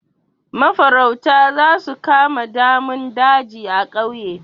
Mafarauta za su kama damun daji a ƙauye.